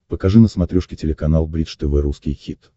покажи на смотрешке телеканал бридж тв русский хит